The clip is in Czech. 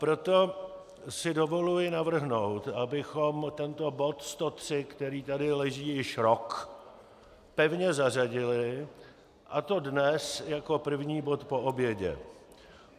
Proto si dovoluji navrhnout, abychom tento bod 103, který tady leží již rok, pevně zařadili, a to dnes jako první bod po obědě.